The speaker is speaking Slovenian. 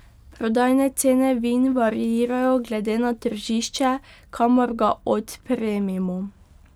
Prodajne cene vin variirajo glede na tržišče kamor ga odpremimo.